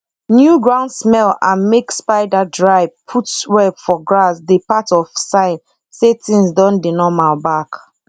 new ground smell and make spider dry put web for grass dey part of sign say things don dey normal back